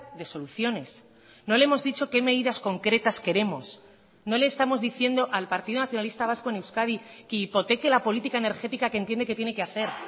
de soluciones no le hemos dicho qué medidas concretas queremos no le estamos diciendo al partido nacionalista vasco en euskadi que hipoteque la política energética que entiende que tiene que hacer